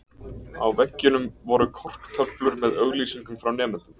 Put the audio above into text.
Á veggjunum voru korktöflur með auglýsingum frá nemendum.